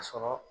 A sɔrɔ